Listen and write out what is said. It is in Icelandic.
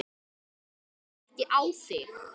Ég hlusta ekki á þig!